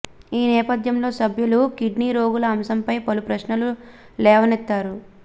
ఈ నేపథ్యంలో సభ్యులు కిడ్నీ రోగుల అంశంపై పలు ప్రశ్నలు లేవనెత్తారు